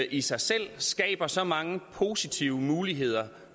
i sig selv skaber så mange positive muligheder